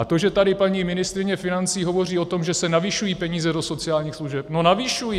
A to, že tady paní ministryně financí hovoří o tom, že se navyšují peníze do sociálních služeb, no navyšují.